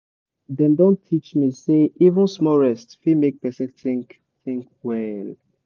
dem don teach me say even small rest fit make person think think well.